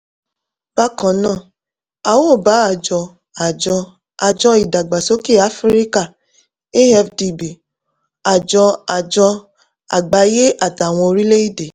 bákan náà a óò bá àjọ àjọ àjọ ìdàgbàsókè áfíríkà (afdb) àjọ àjọ àgbáyé àtàwọn orílẹ̀-èdè